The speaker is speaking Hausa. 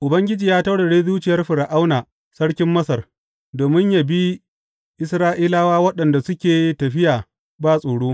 Ubangiji ya taurare zuciyar Fir’auna sarkin Masar, domin yă bi Isra’ilawa waɗanda suke tafiya ba tsoro.